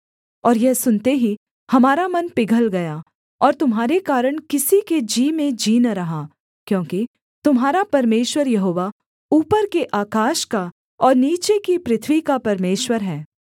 और यह सुनते ही हमारा मन पिघल गया और तुम्हारे कारण किसी के जी में जी न रहा क्योंकि तुम्हारा परमेश्वर यहोवा ऊपर के आकाश का और नीचे की पृथ्वी का परमेश्वर है